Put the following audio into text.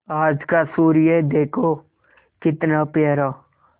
आज का सूर्य देखो कितना प्यारा